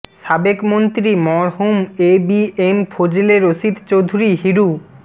সাবেক মন্ত্রী মরহুম A B M Fazle Rashid Chowdhury Hiru